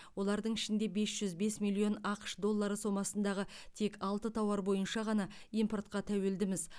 олардың ішінде бес жүз бес миллион ақш доллары сомасындағы тек алты тауар бойынша ғана импортқа тәуелдіміз